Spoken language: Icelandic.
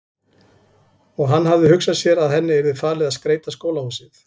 Og hann hafði hugsað sér að henni yrði falið að skreyta skólahúsið.